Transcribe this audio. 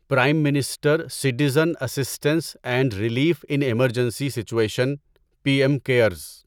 prime minister citizen assistance and relief in emergency situation P M cares